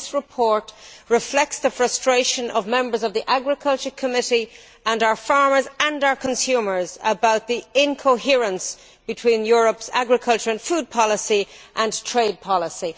This report reflects the frustration of members of the Committee on Agriculture, and our farmers and consumers, about the incoherence between Europe's agriculture and food policy and trade policy.